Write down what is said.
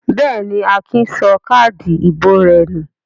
Bẹ́ẹ̀ ni, Akin sọ káádì ìbò rẹ̀ nù.